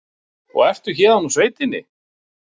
Og ertu héðan úr sveitinni?